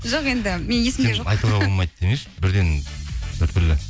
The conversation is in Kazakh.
жоқ енді менің есімде айтуға болмайды демеші бірден біртүрлі